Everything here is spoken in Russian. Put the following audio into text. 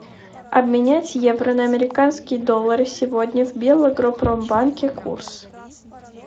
обменять евро на американские доллары сегодня в белагропромбанке курс